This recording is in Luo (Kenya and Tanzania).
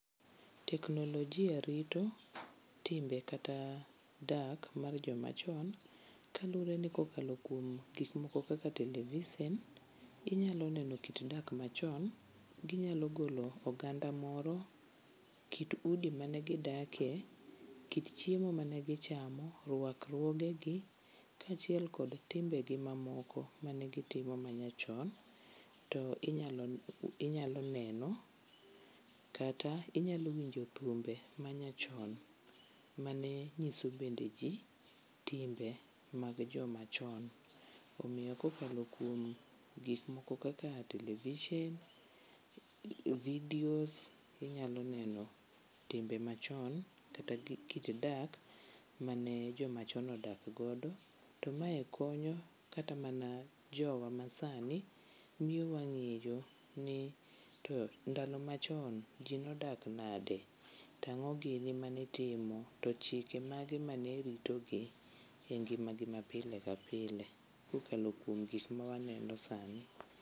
Teknolojia rito timbe kata dak mar jomachon kaluwre ni kokalo kuom gikmoko kaka televisen inyalo neno kit dak machon ginyalo golo oganda moro, kit udi mane gidake, kit chiemo mane gichamo, rwakruogegi kaachiel kod timbegi mamoko manegitimo manyachon to inyalo neno, kata inyalo winjo thumbe manyachon mane nyiso bende ji timbe mag jomachon. Omiyo kokalo kuom gikmoko kata televishen, vidios, inyalo neno timbe machon kata gi kit dak mane jomachon odak godo to mae konyo kata mana jowa masani miyo wang'eyo ni to ndalo machon ji nodak nade, tang'o gini manitimo to chike mage mane ritogi e ngimagi mapile ka pile kokalo kuom gik mawaneno sani.